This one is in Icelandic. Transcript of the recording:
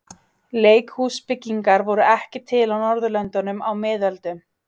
Leikhúsbyggingar voru ekki til á Norðurlöndum á miðöldum.